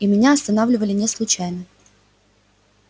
и меня останавливали не случайно